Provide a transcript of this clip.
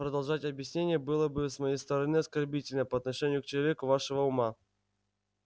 продолжать объяснение было бы с моей стороны оскорбительно по отношению к человеку вашего ума